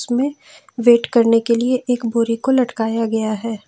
Wait करने के लिए एक बोरे को लटकाया गया है।